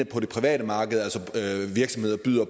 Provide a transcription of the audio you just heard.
virksomheder byder